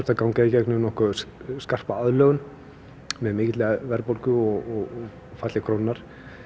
að ganga í gegnum nokkuð skarpa aðlögun með mikilli verðbólgu og falli krónunnar